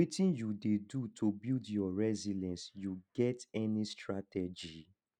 wetin you dey do to build your resilience you get any strategy